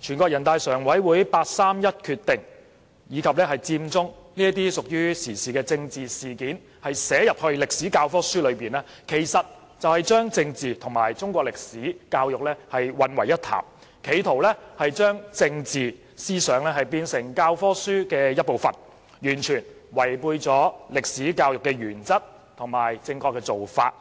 全國人大常委會八三一決定、佔中等屬於時事的政治事件寫入中史教科書中，其實是將政治和中史教育混為一談，企圖將政治思想變成教科書一部分，完全違背了歷史教育的原則和正確做法。